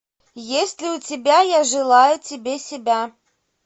есть ли у тебя я желаю тебе себя